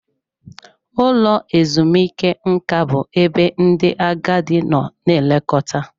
Ụlọ ezumike nka bụ ebe ndị agadi nọ na-elekọta.